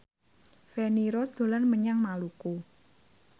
Feni Rose dolan menyang Maluku